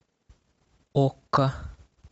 окка